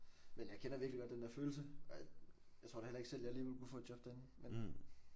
Men jeg kender virkelig godt den der følelse og jeg jeg tror da heller ikke selv jeg lige ville kunne få et job derinde men